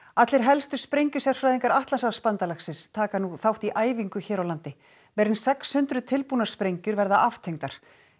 allir helstu sprengjusérfræðingar Atlantshafsbandalagsins taka nú þátt í æfingu hér á landi meira en sex hundruð tilbúnar sprengjur verða aftengdar